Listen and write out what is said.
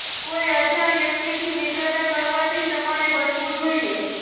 કોઈ અજાણ વ્યક્તિ થી મિત્રતા કરવાથી તમારે બચવું જોઈએ